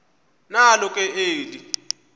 nalo ke eli